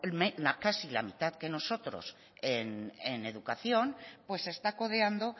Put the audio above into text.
casi la mitad que nosotros en educación pues se está codeando